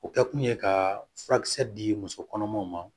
O kɛkun ye ka furakisɛ di muso kɔnɔmaw ma